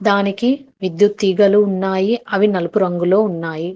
దానికి విద్యుత్ తీగలు ఉన్నాయి అవి నలుపు రంగులో ఉన్నాయి.